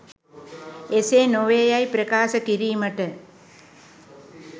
එසේ නොවේ යැයි ප්‍රකාශ කිරීමට